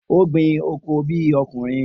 O gbin oko bi okunrin.